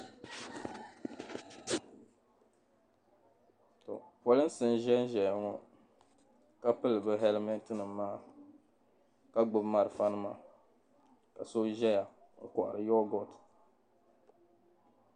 polinsi n-ʒen ʒeya ŋɔ ka pili be "helmet"nima maa ka gbubi be malifanima ka so ʒeya n-kohari "yoghurt".